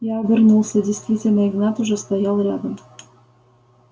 я обернулся действительно игнат уже стоял рядом